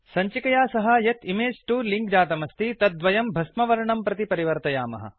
संचिकया सह यत् image 2 link जातमस्ति तद्वयम् भस्मवर्णं प्रति परिवर्तयामः